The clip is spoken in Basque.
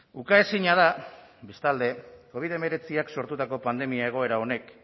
ukaezina da bestalde covid hemeretziak sortutako pandemia egoera honek